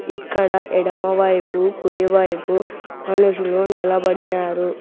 ఇక్కడ ఎడమవైపు కుడివైపు మనుషులు నిలబడినారు.